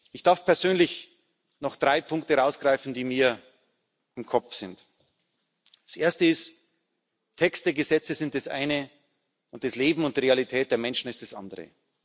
Ich darf persönlich noch drei Punkte herausgreifen, die mir im Kopf geblieben sind Als Erstes Texte, Gesetze sind das eine, und das Leben und die Realität der Menschen sind das andere.